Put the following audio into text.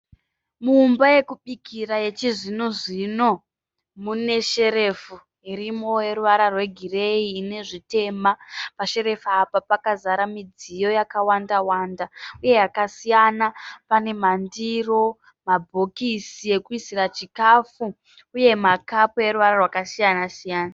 Mumba yokubikira yechizvinozvino mune sherefu irimo yoruvara rwegireyi ine zvitema. Pasherefu apa pakazara midziyo yakawandawanda uye yakasiyana. Pane mandiro, mabhokisi okuisira chikafu uye makapu eruvara rwakasiyanasiyana.